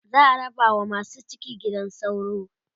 za'a raba wa masu ciki gidan sauro